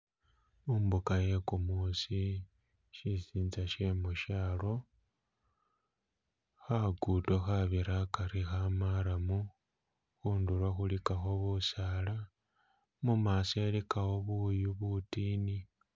Mumbuga ye gumusi shisinza she mushalo khagudo khabira hagari ka marram khundulo khuligako busaala mumaso iligawo buyu budini.